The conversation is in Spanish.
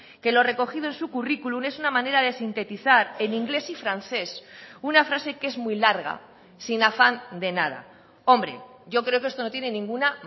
que lo recogido en su currículum es una manera de sintetizar en inglés y francés una frase que es muy larga sin afán de nada hombre yo creo que esto no tiene ninguna